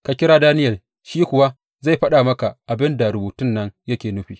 Ka kira Daniyel shi kuwa zai faɗa maka abin da rubutun nan yake nufi.